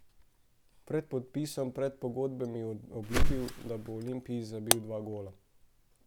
Pred podpisom predpogodbe mi je obljubil, da bo Olimpiji zabil dva gola.